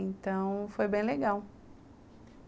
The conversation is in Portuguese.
Então, foi bem legal.